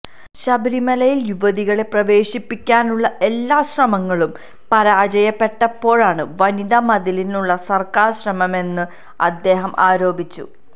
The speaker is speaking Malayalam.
ശബരിമലയിൽ യുവതികളെ പ്രവേശിപ്പിക്കാനുള്ള എല്ലാ ശ്രമങ്ങളും പരാജയപ്പെട്ടപ്പോഴാണ് വനിതാ മതിലിനുള്ള സർക്കാർ ശ്രമമെന്നും അദ്ദേഹം ആരോപിച്ചു